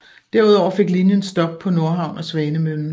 Derudover fik linjen stop på Nordhavn og Svanemøllen